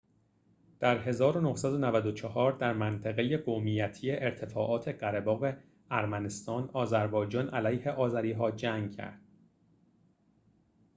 در ۱۹۹۴ در منطقه قومیتی ارتفاعات قره‌باغ ارمنستان آذربایجان علیه آذری‌ها جنگ کرد